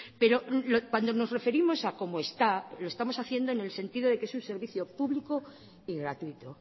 pero cuando nos referimos a como está lo estamos haciendo en el sentido de que es un servicio público y gratuito